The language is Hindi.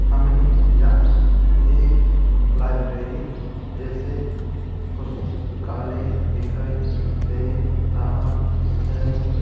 हमे यहाँ एक लायब्रेरी जैसे पुस्तकालय दिखाई दे रहा हैं।